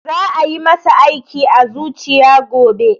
Za a yi masa aiki a zuciya gobe